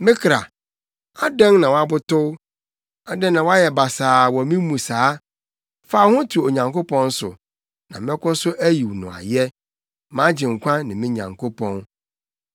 Me kra, adɛn, na woabotow? Adɛn na woayɛ basaa wɔ me mu saa? Fa wo ho to Onyankopɔn so, na mɛkɔ so ayi no ayɛ, mʼAgyenkwa ne me Nyankopɔn.